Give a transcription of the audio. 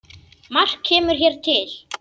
Margt kemur hér til.